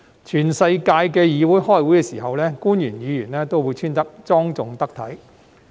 全世界的議會開會的時候，官員和議員也會穿着莊重得體。